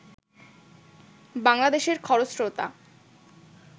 বাংলাদেশের খরস্রোতা